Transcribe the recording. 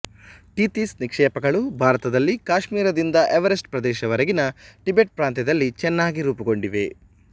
Tethys ನಿಕ್ಷೇಪಗಳು ಭಾರತದಲ್ಲಿ ಕಾಶ್ಮೀರದಿಂದ ಎವರೆಸ್ಟ್ ಪ್ರದೇಶವರೆಗಿನ ಟಿಬೆಟ್ ಪ್ರಾಂತ್ಯದಲ್ಲಿ ಚೆನ್ನಾಗಿ ರೂಪುಗೊಂಡಿವೆ